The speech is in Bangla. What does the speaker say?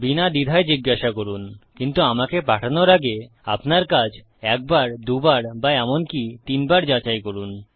বিনা দ্বিধায় জিজ্ঞাসা করুন কিন্তু আমাকে পাঠানোর আগে আপনার কাজ একবার দুবার বা এমনকি তিনবার যাচাই করুন